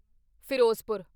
Firozpur